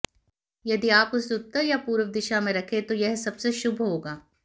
यदि आप इसे उत्तर या पूर्व दिशा में रखें तो यह सबसे शुभ होगा